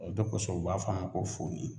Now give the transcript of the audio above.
O de kosɔn o b'a fɔ a ma ko fuyi